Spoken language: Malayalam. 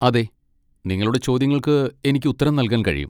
അതെ, നിങ്ങളുടെ ചോദ്യങ്ങൾക്ക് എനിക്ക് ഉത്തരം നൽകാൻ കഴിയും.